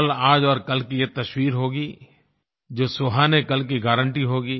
कल आज और कल की ये तस्वीर होगी जो सुहाने कल की गारंटी होगी